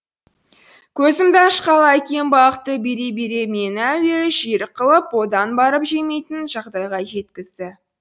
көзімді ашқалы әкем балықты бере бере мені әуелі жерік қылып одан барып жемейтін жағдайға жеткізді